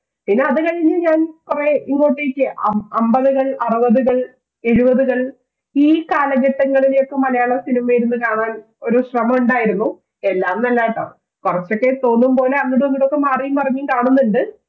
പിന്നെ അത് കഴിഞ്ഞ് ഞാൻ കുറേ ഇങ്ങോട്ടേക്ക് അമ്പതുകൾ, അറുപതുകൾ, എഴുപതുകൾ ഈ കാലഘട്ടങ്ങളിലെ മലയാളം cinema ഇരുന്നു കാണാൻ ഒരു ശ്രമം ഉണ്ടായിരുന്നു എല്ലാം ഒന്നുമല്ല കേട്ടോ കുറച്ചൊക്കെ തോന്നുന്ന പോലെ അങ്ങടും ഇങ്ങോട്ടുമൊക്കെ മാറിയും മറിഞ്ഞു കാണുന്നുണ്ട്